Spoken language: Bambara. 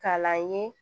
K'a la n ye